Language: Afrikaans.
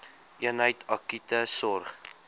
eenheid akute sorg